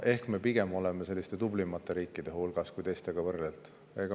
Ehk me pigem oleme selliste tublimate riikide hulgas, kui teistega võrrelda.